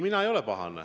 Mind need ei pahanda.